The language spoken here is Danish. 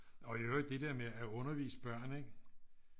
Og i øvrigt det der med at undervise børn ikke